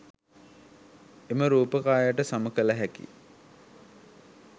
එම රූප කායට සම කල හැකි